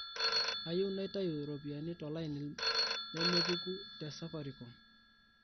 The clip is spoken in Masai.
kayieu naitayu ropiyani tolaini nemepuku te safaricom